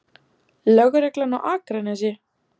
Lögreglan á Akranesi?